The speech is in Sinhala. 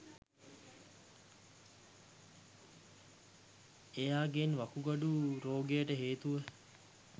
එයාගෙන් වකුගඩු රෝගයට හේතුව